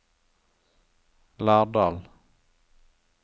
Lardal